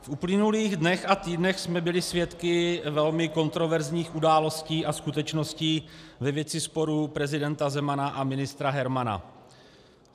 V uplynulých dnech a týdnech jsme byli svědky velmi kontroverzních událostí a skutečností ve věci sporu prezidenta Zemana a ministra Hermana.